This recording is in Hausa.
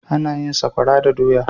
Ana yin sakora da doya.